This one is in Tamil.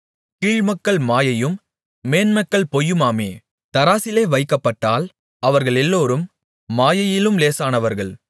கீழ்மக்கள் மாயையும் மேன்மக்கள் பொய்யுமாமே தராசிலே வைக்கப்பட்டால் அவர்களெல்லோரும் மாயையிலும் லேசானவர்கள்